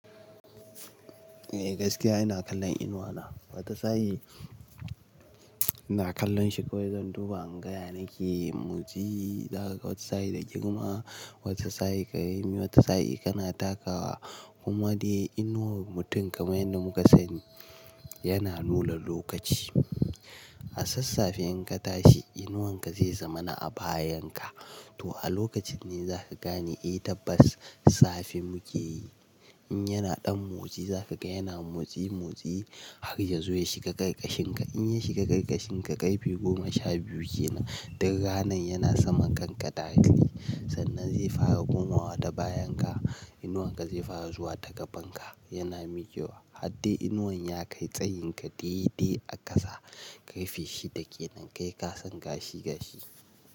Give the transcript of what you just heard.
Eh gaskiya ina kallon inuwa na. Wata sa'i ina kallon shi kawai zan duba ingaya nake motsi, za ka wata sa'i da girma, wata sa'i ka yi, wata sa'i kana takawa. Kuma dai inuwar mutum kamar yanda muka sani yana nuna lokaci. A sassafen ka tashi inuwanka zai zama na a bayan ka. To a lokacin ne za ka gane eh tabbas safe muke. In yana ɗan motsi za ka ga yana motsi motsi har ya zo ya shiga ƙarƙashin ka. In ya shiga ƙarƙashin ka karfe goma sha biyu kenan, duk ranan yana saman kanka direct ne. Sannan zai fara komawa ta bayan ka, inuwanka zai fara zuwa ta gaban ka, yana miƙewa. Har dai inuwanya ya kai tsayin ka daidai a ƙasa, ƙarfe shida kenan kai ka san gashi gashi.